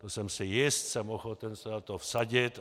To jsem si jist, jsem ochoten se o to vsadit.